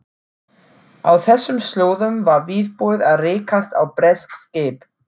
Á þessum slóðum var viðbúið að rekast á bresk skip.